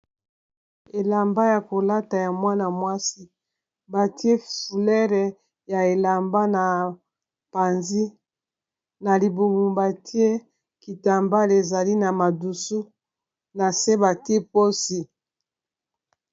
elamba ya kolata ya mwana-mwasi batie fleure ya elamba na panzi na libubumba tie kitambale ezali na madusu na se batie posi